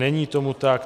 Není tomu tak.